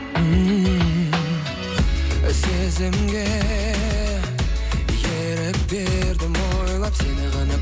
ммм сезімге ерік бердім ойлап сені ғана